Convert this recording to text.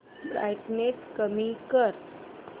brightness कमी कर